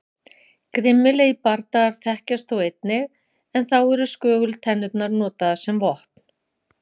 Grimmilegri bardagar þekkjast þó einnig en þá eru skögultennurnar notaðar sem vopn.